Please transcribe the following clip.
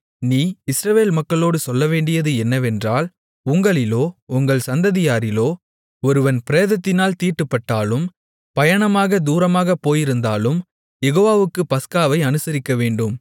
நீ இஸ்ரவேல் மக்களோடு சொல்லவேண்டியது என்னவென்றால் உங்களிலோ உங்கள் சந்ததியாரிலோ ஒருவன் பிரேதத்தினால் தீட்டுப்பட்டாலும் பயணமாகத் தூரமாக போயிருந்தாலும் யெகோவாவுக்குப் பஸ்காவை அனுசரிக்கவேண்டும்